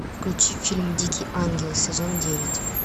включи фильм дикий ангел сезон девять